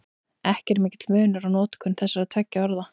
Ekki er mikill munur á notkun þessara tveggja orða.